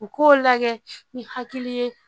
U k'o lagɛ ni hakili ye